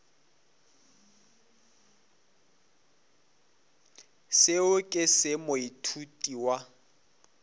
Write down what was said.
seo ke se moithuti wa